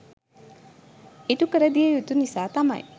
ඉටුකරදිය යුතු නිසා තමයි